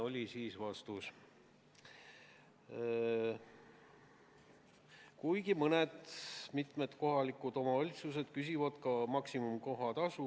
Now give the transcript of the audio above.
Mõned kohalikud omavalitsused küsivad kohatasu ka maksimummäära ulatuses.